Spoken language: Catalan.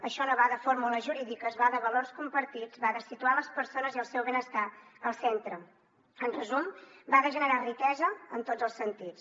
això no va de fórmules jurídiques va de valors compartits va de situar les persones i el seu benestar al centre en resum va de generar riquesa en tots els sentits